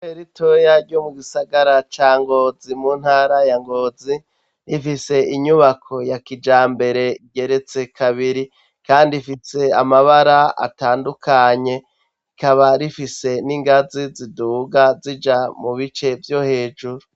Iteritoriya ryo mu gisagara ca Ngozi mu ntara ya Ngozi, ifise inyubako ya kijambere igeretse kabiri kandi ifise amabara atandukanye, ikaba rifise n'ingazi ziduga zija mu bice vyo hejuru.